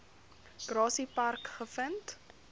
grassy park gevind